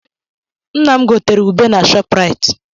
Nna m gotere ube na Shopraịt.